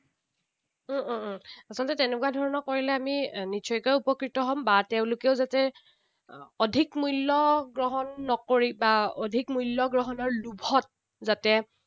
উম উম উম আচলতে তেনেকুৱা ধৰণৰ কৰিলে আমি নিশ্চয়কৈ উপকৃত হম। বা তেওঁলোকেও যাতে অধিক মূল্য গ্ৰহণ নকৰি, বা অধিক মূল্যগ্ৰহণৰ লোভত যাতে